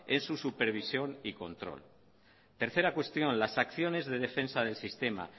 en su supervisión y control tercera cuestión las acciones de defensa del sistema